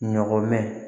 Ɲɔgɔn mɛn